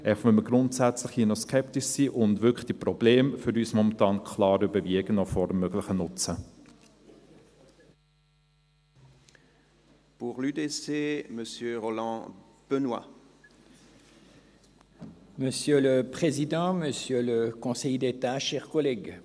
einfach, weil wir hier grundsätzlich noch skeptisch sind und weil die Probleme den möglichen Nutzen für uns momentan wirklich klar überwiegen.